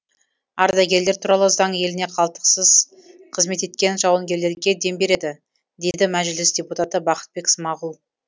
ардагерлер туралы заң еліне қалтқысыз қызмет еткен жауынгерлерге дем береді дейді мәжіліс депутаты бақытбек смағұл